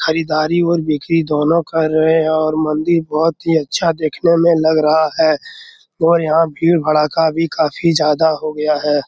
खरीदारी और बिक्री दोनों कर रहे हैं और मंदिर बहुत ही अच्छा देखने में लग रहा है और यहां भीड़ भराका भी काफी ज्यादा हो गया है।